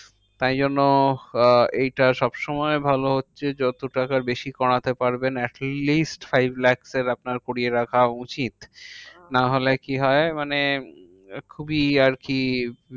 তাই জন্য আহ এইটা সবসময় ভালো হচ্ছে যত টাকা বেশি করাতে পারবেন atleast five lakhs এর আপনার করিয়ে রাখা উচিত। হ্যাঁ নাহলে কি হয়? মানে খুবই আরকি